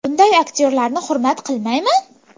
Bunday aktyorlarni hurmat qilmayman.